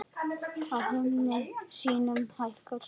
Á himni sínum hækkar sól.